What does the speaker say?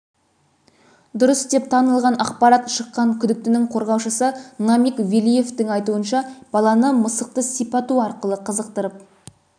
дұрыс деп танылған ақпарат шыққан күдіктінің қорғаушысы намиг велиевтің айтуынша баланы мысықты сипату арқылы қызықтырып